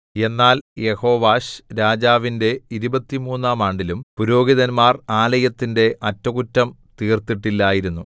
എന്നാൽ യെഹോവാശ്‌രാജാവിന്റെ ഇരുപത്തിമൂന്നാം ആണ്ടിലും പുരോഹിതന്മാർ ആലയത്തിന്റെ അറ്റകുറ്റം തീർത്തിട്ടില്ലായിരുന്നു